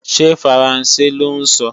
Ṣé faransé lọ́ ń sọ?